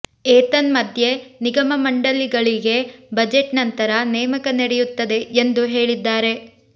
ಏತನ್ಮಧ್ಯೆ ನಿಗಮ ಮಂಡಲಿಗಳಿಗೆ ಬಜೆಟ್ ನಂತರ ನೇಮಕ ನಡೆಯುತ್ತದೆ ಎಂದು ಹೇಳಿದ್ದಾರೆ